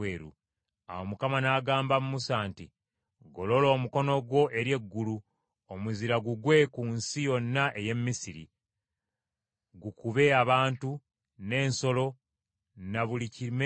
Awo Mukama n’agamba Musa nti, “Golola omukono gwo eri eggulu, omuzira gugwe ku nsi yonna ey’e Misiri: gukube abantu, n’ensolo, ne buli kimera kyonna ekiri mu nnimiro mu Misiri.”